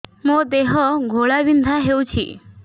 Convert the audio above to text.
ମୋ ଦେହ ଘୋଳାବିନ୍ଧା ହେଉଛି